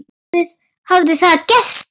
Nú hafði það gerst.